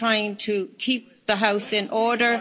I'm trying to keep the House in order.